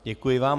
Děkuji vám.